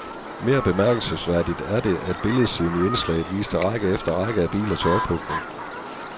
Mere bemærkelsesværdigt er det, at billedsiden i indslaget viste række efter række af biler til ophugning.